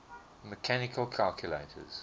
mechanical calculators